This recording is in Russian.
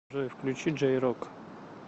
джой включи джей рок